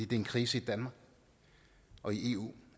det er en krise i danmark og i eu